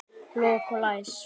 Lok og læs.